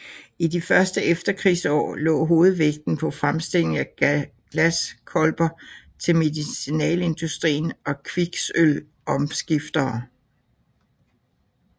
I de første efterkrigsår lå hovedvægten på fremstilling af glaskolber til medicinalindustrien og kviksølvomskiftere